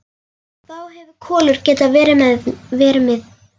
Þá hefði Kolur getað verið með.